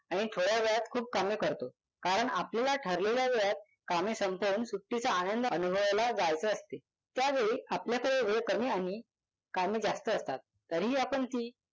आणि थोड्या वेळात खूप कामे करतो. कारण आपल्याला ठरलेल्या वेळात कामे संपवून सुट्टीचा आनंद अनुभवायला जायचे असते. त्यावेळी आपल्याकडे वेळ कमी आणि कामे जास्त असतात. तरीही आपण ती